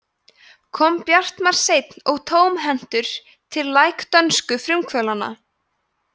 kom bjartmar seinn og tómhentur til læk dönsku frumkvöðlana